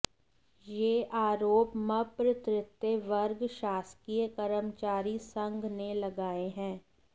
यह आरोप मप्र तृतीय वर्ग शासकीय कर्मचारी संघ ने लगाए हैं